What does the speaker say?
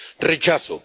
rechazo